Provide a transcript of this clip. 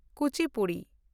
Kuchipudi